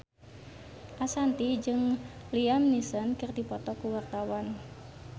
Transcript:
Ashanti jeung Liam Neeson keur dipoto ku wartawan